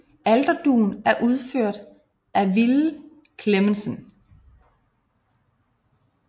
Alterdugen er udført af Ville Clemmensen